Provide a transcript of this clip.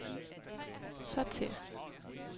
sortér